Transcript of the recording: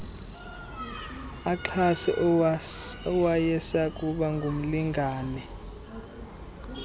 axhase owayesakuba ngumlingane